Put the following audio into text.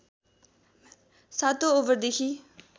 सातौं ओभरदेखि